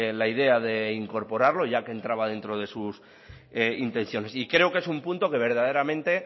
la idea de incorporarlo ya que entraba dentro de sus intenciones y creo que es un punto que verdaderamente